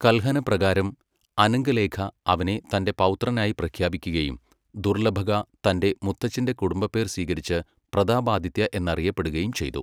കൽഹന പ്രകാരം, അനംഗലേഖാ അവനെ തന്റെ പൗത്രനായി പ്രഖ്യാപിക്കുകയും ദുർലഭക തന്റെ മുത്തച്ഛന്റെ കുടുംബപ്പേർ സ്വീകരിച്ച് പ്രതാപാദിത്യ എന്നറിയപ്പെടുകയും ചെയ്തു.